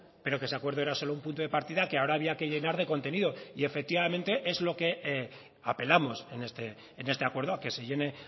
pero que ese acuerdo era solo un punto de partida que ahora había que llenar de contenido y efectivamente es lo que apelamos en este acuerdo a que se llene